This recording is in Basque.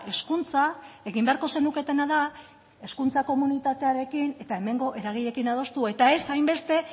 hezkuntza egin beharko zenuketena da hezkuntza komunitatearekin eta hemengo eragileekin adostu eta ez hainbeste